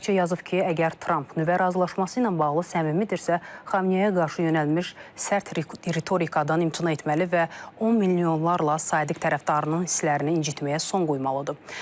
Araqçı yazıb ki, əgər Tramp nüvə razılaşması ilə bağlı səmimidirsə, Xamneyə qarşı yönəlmiş sərt ritorikadan imtina etməli və on milyonlarla sadiq tərəfdarının hisslərini incitməyə son qoymalıdır.